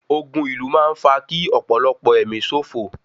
Community war leads to loss of lives